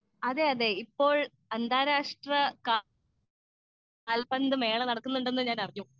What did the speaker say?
speaker 2 അതെയതെ ഇപ്പോൾ അന്താരാഷ്ട്ര കാൽപ്പന്തു മേള നടക്കുന്നുണ്ടെന്ന് ഞാൻ അറിഞ്ഞു